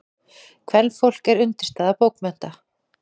Kvenfólk er undirstaða bókmennta.